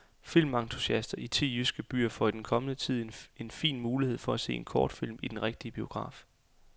Filmentusiaster i ti jyske byer får i den kommende tid en fin mulighed for at se kortfilm i den rigtige biograf.